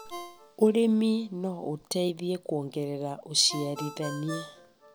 ũrĩmi no ũteithie kuongerera ũciarithania.